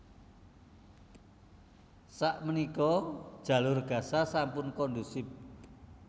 Sak menika Jalur Gaza sampun kondusif